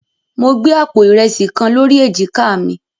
Mo gbé àpò ìrẹsì kan lórí èjìká mi.